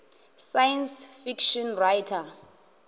science fiction writer